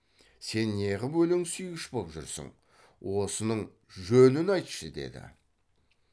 сен неғып өлең сүйгіш боп жүрсің осының жөнін айтшы деді